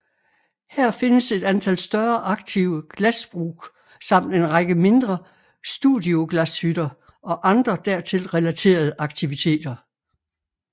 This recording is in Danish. Her findes et antal større aktive glasbruk samt en række mindre studioglashytter og andre dertil relaterede aktiviteter